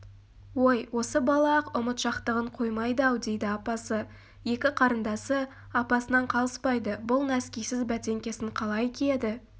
ой осы бала-ақ ұмытшақтығын қоймайды-ау дейді апасы екі қарындасы апасынан қалыспайды бұл нәскисіз бәтеңкесін қалай киеді